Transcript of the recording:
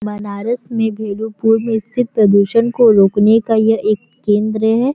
बनारस में भेलूपुर स्थित प्रदूषण को रोकने का यह एक केंद्र है|